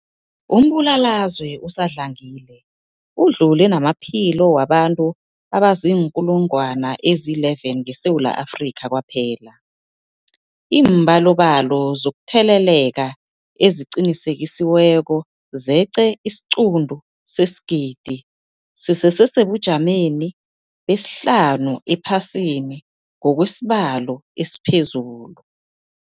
Umbulalazwe usadlangile udlule namaphilo wabantu abaziinkulungwana ezi-11 ngeSewula Afrika kwaphela. Iimbalobalo zokutheleleka eziqinisekisiweko zeqe isiquntu sesigidi, sisesebujameni besihlanu ephasini ngokwesibalo esiphezulu.